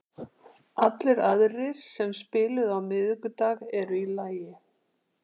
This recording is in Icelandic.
Allir aðrir sem spiluðu á miðvikudag eru í lagi.